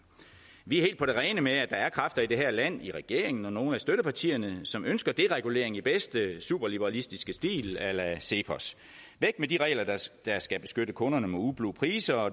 vi er helt på det rene med at der er kræfter i det her land i regeringen og i nogle af støttepartierne som ønsker deregulering i bedste superliberalistiske stil a la cepos væk med de regler der skal beskytte kunderne mod ublu priser og